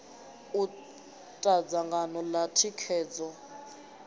u ta dzangano ḽa thikhedzo